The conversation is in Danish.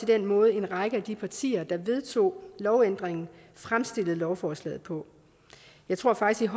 den måde en række af de partier der vedtog lovændringen fremstillede lovforslaget på jeg tror faktisk